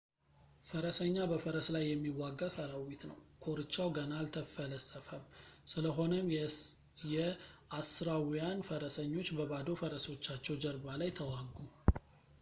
ፈረሰኛ በፈረስ ላይ የሚዋጋ ሰራዊት ነው ኮርቻው ገና አልተፈለሰፈም ስለሆነም የአሦራውያን ፈረሰኞች በባዶ ፈረሶቻቸው ጀርባ ላይ ተዋጉ